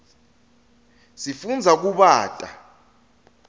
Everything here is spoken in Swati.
sifundza kubata